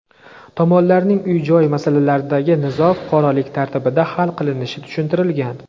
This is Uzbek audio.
Tomonlarning uy-joy masalasidagi nizo fuqarolik tartibida hal qilinishi tushuntirilgan.